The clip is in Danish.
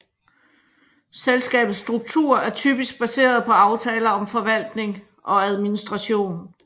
Selskabets struktur er typisk baseret på aftaler om forvaltning og administration